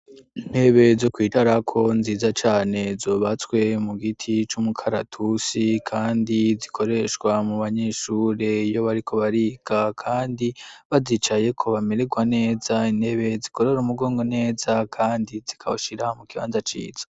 Intebe zo kwicarako nziza cane zubatswe mu giti c'umukaratusi kandi zikoreshwa mu banyeshure iyo bariko bariga kandi bazicayeko bamererwa neza intebe zikorora umugongo neza kandi zikawushira mu kibanza ciza.